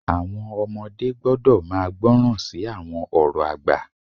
Àwọn ọmọdé gbọ́dọ̀ máa gbọ́ràn sí àwọn ọ̀rọ̀ àgbà.